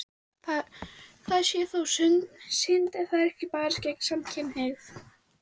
Það sé þó synd ef ekki sé barist gegn samkynhneigð.